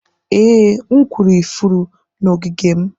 ee, m kụrụ ifuru n'ogige m.